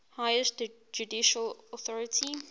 highest judicial authority